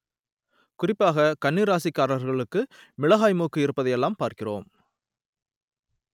குறிப்பாக கன்னி ராசிக்காரர்களுக்கு மிளகாய் மூக்கு இருப்பதையெல்லாம் பார்க்கிறோம்